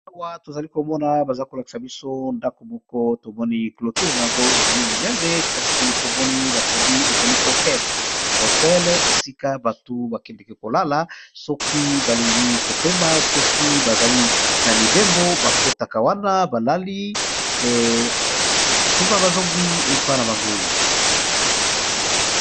Aawa to zali ko mona baza ko lakisa biso ndako moko to moni clôture yango ezali monene kasi to moni ba komi ezali hotel . Hotel esika bato ba kendeka ko lala soki ba lingi ko pema, soki bazali na mibembo ba kotaka wana ba lali sima bazongi epayi na bango .